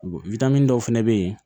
dɔw fɛnɛ bɛ ye